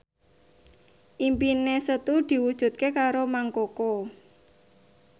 impine Setu diwujudke karo Mang Koko